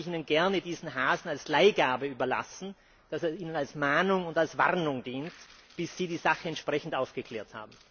Darum würde ich Ihnen gerne diesen Hasen als Leihgabe überlassen, damit er Ihnen als Mahnung und als Warnung dient, bis Sie die Sache entsprechend aufgeklärt haben.